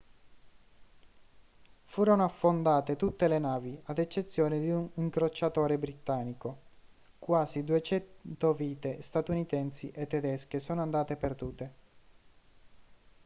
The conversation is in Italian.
furono affondate tutte le navi ad eccezione di un incrociatore britannico quasi 200 vite statunitensi e tedesche sono andate perdute